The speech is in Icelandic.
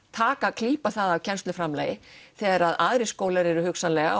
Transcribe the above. klípa það af kennsluframlagi þegar aðrir skólar eru hugsanlega